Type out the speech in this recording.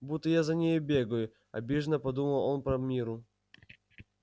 будто я за ней бегаю обиженно подумал он про мирру